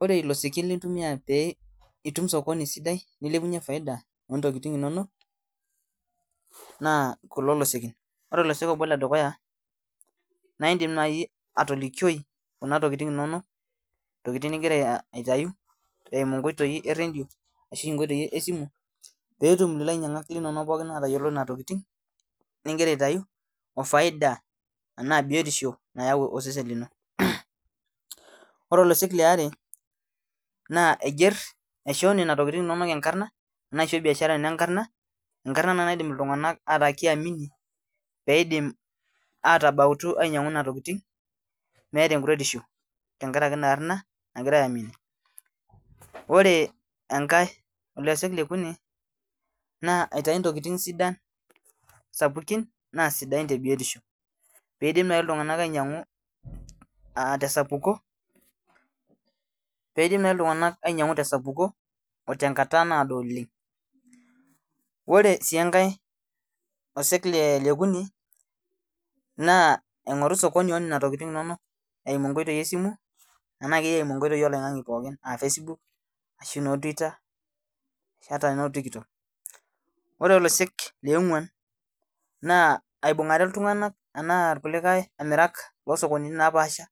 Ore ilosekin lintumia pee itum sokoni sidai nilepunyie faida ontokiting inonok naa kulo losekin ore olosek obo ledukuya naindim naaji atolikioi kuna tokiting inonok ntokiting ningira aitayu eimu inkoitoi erendio ashu inkoitoi esimu petum ilainyiang'ak linonok pookin atayiolo nena tokiting ningira aitayu ofaida anaa biotisho nayau osesen lino ore olosek liare naa aigerr aisho nena tokiting inonok enkarrna enaa aisho biashara ino enkarrna, enkarrna naa naidim iltung'anak ataa kiamini peidim atabautu ainyiang'u nena tokiting meeeta enkuretisho tenkaraki ina arrna nagirae ae amini ore enkae oliosek liokuni naa aitai intokitin sidan sapukin naa sidain te biotisho peidim naaji iltung'anak ainyiang'u uh tesapuko peidim naaji iltung'anak ainyiang'u tesapuko otenkata naado oleng ore sii enkae osek liokuni naa aing'oru sokoni onena tokitin inonok eimu inkoitoi esimu enaake eimu inkoitoi oloing'ang'e pookin aa facebook ashu ino twitter ashu inoo tiktok ore olosek liong'uan naa aibung'are iltung'anak anaa irkulikae amirak losokonini napaasha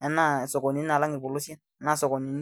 enaa sokonini nalang irpolosien enaa sokonini.